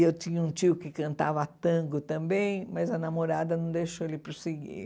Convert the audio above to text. E eu tinha um tio que cantava tango também, mas a namorada não deixou ele prosseguir.